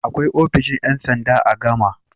Akwai ofishin ƴan sanda a Gama.